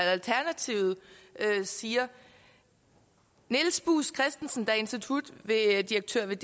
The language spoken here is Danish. alternativet siger niels buus kristensen der er institutdirektør ved